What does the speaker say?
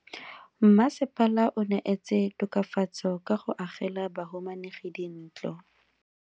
Mmasepala o neetse tokafatso ka go agela bahumanegi dintlo.